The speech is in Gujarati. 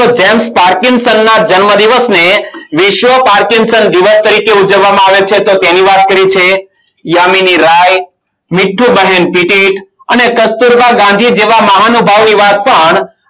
જેમ parking san ના જન્મદિવસ ને વિશ્વ parking san દિવસ તરીકે ઉજવવામાં આવે છે. તો તેની વાત કરી છે. યામીની રાય મીઠુબહેન પીટી અને કસ્તુરબા ગાંધી જેવા મહાનુભવો એવા પણ